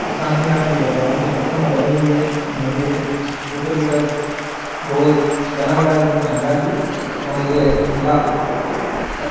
ये शांतिनाथजी भगवान की प्रतिमा बनी हुई है मंदिर है ऊपर की तरफ गोल बना हुआ है एक दम शानदार व्यू और यह शिला --